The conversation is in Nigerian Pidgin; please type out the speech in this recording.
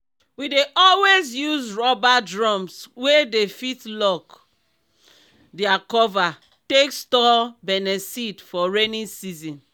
we dey always use rubber drums wey dey fit lock their cover take store beniseed for rainy season.